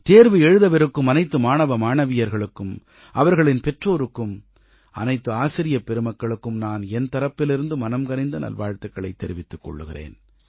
தேர்வு எழுதவிருக்கும் அனைத்து மாணவ மாணவியர்களுக்கும் அவர்களின் பெற்றோருக்கும் அனைத்து ஆசிரியப் பெருமக்களுக்கும் நான் என் தரப்பிலிருந்து மனம்கனிந்த நல்வாழ்த்துக்களைத் தெரிவித்துக் கொள்கிறேன்